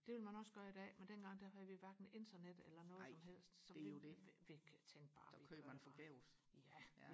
det ville man også gøre i dag men dengang der havde vi hverken internet eller noget som helst så vi tænkte bare ja